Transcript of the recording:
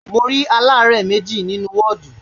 Mo rí aláàárẹ̀ méjì nínú ní wọ́ọ̀dù